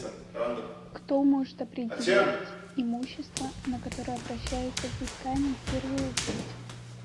кто может определять имущество на которое обращается взыскание в первую очередь